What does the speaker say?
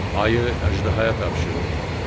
Ayı əjdəhaya tapşırdım.